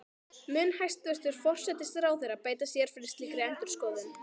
Mun hæstvirtur forsætisráðherra beita sér fyrir slíkri endurskoðun?